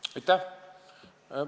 Aitäh!